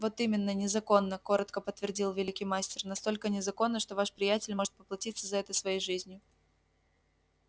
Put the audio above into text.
вот именно незаконна коротко подтвердил великий мастер настолько незаконна что ваш приятель может поплатиться за это своей жизнью